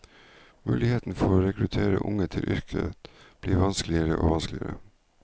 Muligheten for å rekruttere unge til yrket blir vanskeligere og vanskeligere.